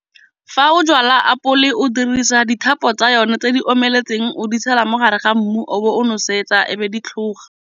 Fa o jala apole o dirisa dithuto tsa yone tse di omeletseng, o di tshela mo gare ga mmu o bo o nosetsa ebe di tlhoga.